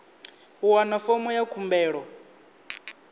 u wana fomo ya khumbelo